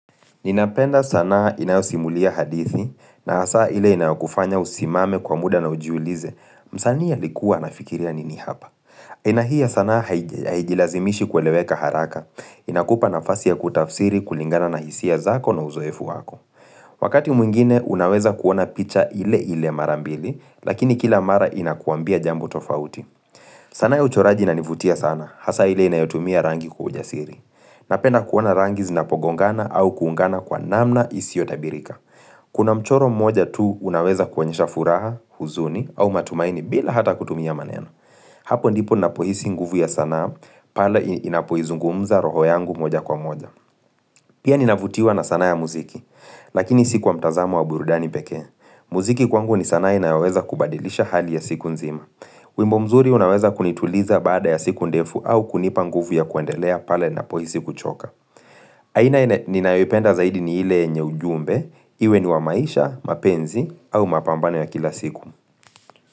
Ninapenda sanaa inayosimulia hadithi, na hasa ile inayokufanya usimame kwa muda na ujiulize, msanii alikuwa anafikiria nini hapa. Aina hii ya sanaa haijilazimishi kueleweka haraka, inakupa nafasi ya kutafsiri kulingana na hisia zako na uzoefu wako. Wakati mwingine, unaweza kuona picha ile ile mara mbili, lakini kila mara inakuambia jambo tofauti. Sanaa ya uchoraji inanivutia sana, hasa ile inayotumia rangi kwa ujasiri. Napenda kuona rangi zinapogongana au kuungana kwa namna hisiotabirika Kuna mchoro mmoja tu unaweza kuonyesha furaha, huzuni au matumaini bila hata kutumia maneno Hapo ndipo napohisi nguvu ya sanaa pale inapoizungumza roho yangu moja kwa moja Pia ninavutiwa na sanaa ya muziki, lakini si kwa mtazamo wa burudani pekee muziki kwangu ni sanaa inayoweza kubadilisha hali ya siku nzima wimbo mzuri unaweza kunituliza baada ya siku ndefu au kunipa nguvu ya kuendelea pale napohisi kuchoka aina ninayoipenda zaidi ni ile yenye ujumbe, iwe ni wa maisha, mapenzi au mapambano ya kila siku.